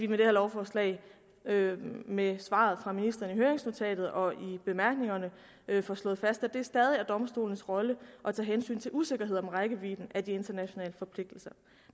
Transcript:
med det her lovforslag med svaret fra ministeren i høringsnotatet og i bemærkningerne får slået fast at det stadig er domstolenes rolle at tage hensyn til usikkerhed om rækkevidden af de internationale forpligtelser